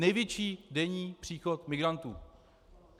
Největší denní příchod migrantů.